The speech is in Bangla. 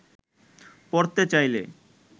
পরতে চাইলে